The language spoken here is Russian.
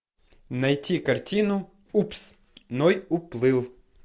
найти картину упс ной уплыл